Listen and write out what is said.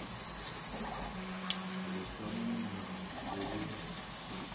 go hlama melao le go